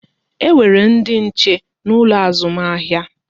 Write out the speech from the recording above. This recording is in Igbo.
E nwere ndị nche n'ụlọ azụmahịa